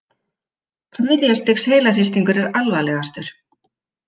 Þriðja stigs heilahristingur er alvarlegastur.